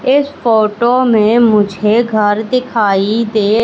इस फोटो में मुझे घर दिखाई दे--